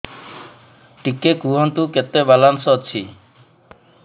ଟିକେ କୁହନ୍ତୁ କେତେ ବାଲାନ୍ସ ଅଛି